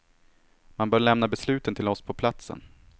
Man bör lämna besluten till oss på platsen.